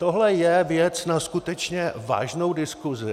Tohle je věc na skutečně vážnou diskusi.